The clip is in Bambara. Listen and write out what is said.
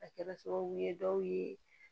A kɛra sababu ye dɔw ye